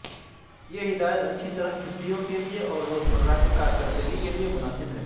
یہ ہدایت اچھی طرح چھٹیوں کے لئے اور روزمرہ کی کارکردگی کے لئے مناسب ہے